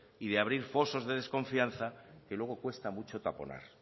y abrir fosos de desconfianza que luego cuesta mucho taponar